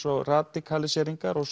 og radikaliseríngar og